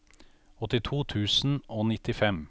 åttito tusen og nittifem